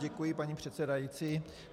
Děkuji, paní předsedající.